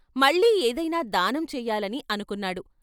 మళ్ళీ ఏదైనా దానం చేయాలని , అనుకున్నాడు.